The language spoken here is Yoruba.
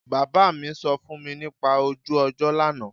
Bàbá mi sọ fún mi nípa ojú ọjọ́ lánàá